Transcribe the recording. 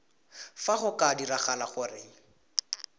fa go ka diragala gore